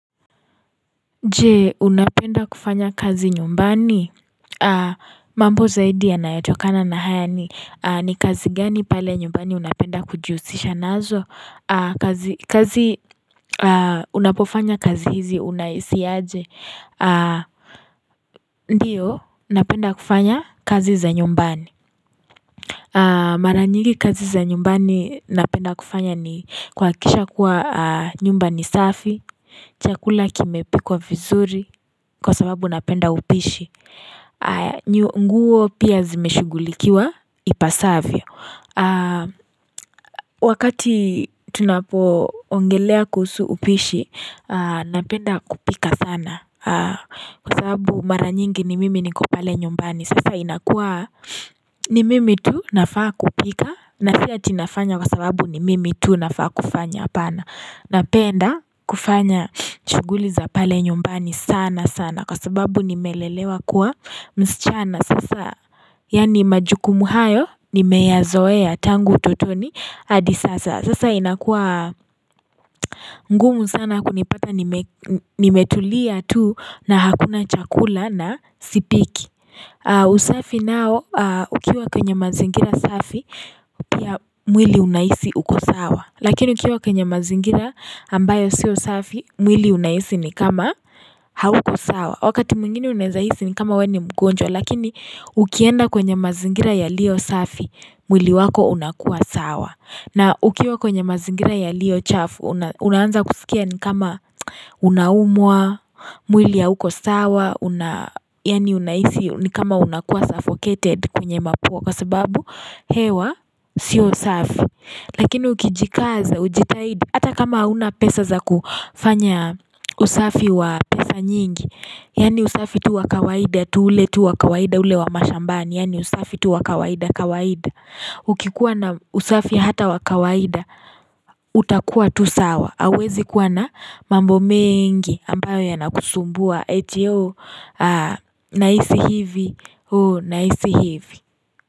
Je unapenda kufanya kazi nyumbani mambo zaidi anayotokana na haya ni kazi gani pale nyumbani unapenda kujiusisha nazo kazi kazi unapofanya kazi hizi unaisi aje ndiyo unapenda kufanya kazi za nyumbani maranyigi kazi za nyumbani unapenda kufanya ni kwakisha kuwa nyumbani safi chakula kime pikwa vizuri kwa sababu napenda upishi nguo pia zimeshugulikiwa ipasavyo Wakati tunapo ongelea kusu upishi napenda kupika sana Kwa sababu mara nyingi ni mimi ni kopale nyumbani Sasa inakuwa ni mimi tu nafaa kupika na fia tinafanya kwa sababu ni mimi tu nafaa kufanya apana na penda kufanya chuguli za pale nyumbani sana sana Kwa sababu nimelelewa kuwa msichana sasa Yani majukumu hayo nimeyazoea tangu utotoni Adi sasa sasa inakua ngumu sana kunipata nimetulia tu na hakuna chakula na sipiki usafi nao ukiwa kwenye mazingira safi Pia mwili unaisi ukosawa Lakini ukiwa kwenye mazingira ambayo siyo safi, mwili unahisi ni kama hauko sawa. Wakati mungini unahisi ni kama weni mgonjwa, lakini ukienda kwenye mazingira ya lio safi, mwili wako unakua sawa. Na ukiwa kwenye mazingira ya lio chafu, unaanza kusikia ni kama unaumwa, mwili ya huko sawa, yani unahisi ni kama unakua suffocated kwenye makuwa kwa sababu, hewa siyo safi. Lakini ukijikaza ujitahidi hata kama una pesa za kufanya usafi wa pesa nyingi Yani usafi tu wa kawaida tu ule tu wa kawaida ule wa mashambani yani usafi tu wa kawaida kawaida Ukikuwa na usafi hata wa kawaida utakuwa tu sawa awezi kuwa na mambo mingi ambayo ya nakusumbua etio na isi hivi.